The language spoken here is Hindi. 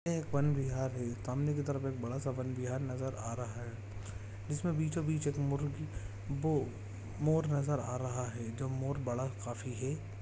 यह एक बन बिहार हैं सामने की तरफ एक बड़ा सा वन विहार नज़र आ रहा हैं जिसमे बीचों बिच एक मुर्गी वो मोर नज़र रहा हैं जो मोर बड़ा काफी हैं।